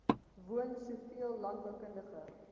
woon soveel landboukundige